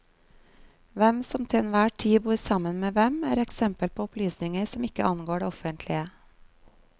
Hvem som til enhver tid bor sammen med hvem, er eksempel på opplysninger som ikke angår det offentlige.